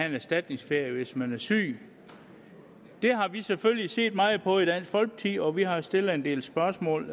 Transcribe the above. en erstatningsferie hvis man er syg det har vi selvfølgelig set meget på i dansk folkeparti og vi har stillet en del spørgsmål